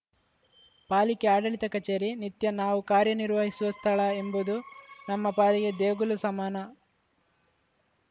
ಪಾಲಿಕೆ ಆಡಳಿತ ಕಚೇರಿ ನಿತ್ಯ ನಾವು ಕಾರ್ಯನಿರ್ವಹಿಸುವ ಸ್ಥಳ ಎಂಬುದು ನಮ್ಮ ಪಾಲಿಗೆ ದೇಗುಲ ಸಮಾನ